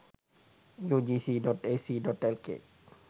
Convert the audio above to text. ugc.ac.lk